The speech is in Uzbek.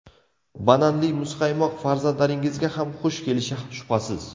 Bananli muzqaymoq farzandlaringizga ham xush kelishi shubhasiz.